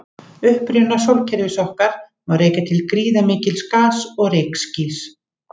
Uppruna sólkerfis okkar má rekja til gríðarmikils gas- og rykskýs.